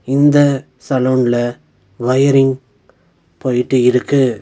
இந்த சலூன்ல வயரிங் போயிட்டு இருக்கு.